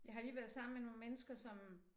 Jeg har lige været sammen med nogle mennesker som